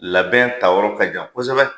Labɛn ta yɔrɔ ka jan kosɛbɛ